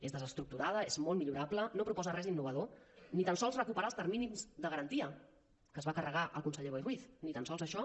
és desestructurada és molt millorable no proposa res innovador ni tan sols recuperar els terminis de garantia que es va carregar el conseller boi ruiz ni tan sols això